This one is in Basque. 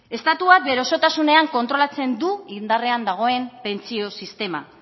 estatua bere osotasunean kontrolatzen du indarrean dagoen pentsio sistema